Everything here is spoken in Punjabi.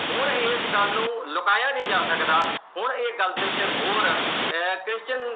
ਹੁਣ ਇਸ ਗੱਲ ਨੂੰ ਲੁਕਾਇਆ ਨੀ ਜਾ ਸਕਦਾ। ਹੁਣ ਇਸ ਗੱਲ ਤੇ ਮੋਹਰ ਆਹ Christian